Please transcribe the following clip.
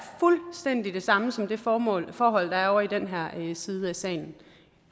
fuldstændig det samme som det forhold forhold der er ovre i den højre side af salen